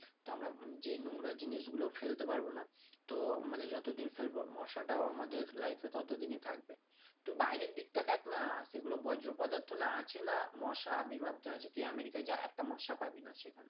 তো আমরা যেই নোংরা জিনিসগুলো ফেলতে পারব না তো মানে যতদিন ফেলবো মশাটাও আমাদের life এ ততদিনই থাকবে তুই বাইরের দিকটা দেখ না সেগুলো বজ্র পদার্থ না আছে না মশার আবির্ভাব টা আছে তুই আমেরিকা যা একটা মশা পাবি না সেখানে